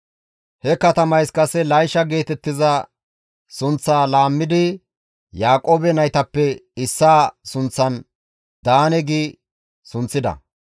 He katamayssi kase Laysha geetettiza sunththaa laammidi Yaaqoobe naytappe issaa sunththan, «Daane» gi sunththida.